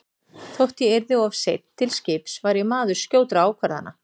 Þótt ég yrði of seinn til skips var ég maður skjótra ákvarðana.